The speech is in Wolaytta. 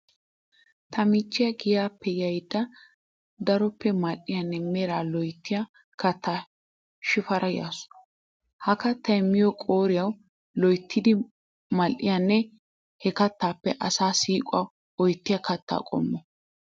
Ta michchiya giyaappe yayidda daroppe mal'iyanne meraa loyittiya kattata shifaarada yaasu. Ha kattay miyo qooriyawu loyittidi mal'iyanne he kattaappe asaa siiquwa oyittiya katta qommo.